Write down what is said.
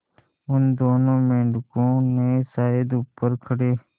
उन दोनों मेढकों ने शायद ऊपर खड़े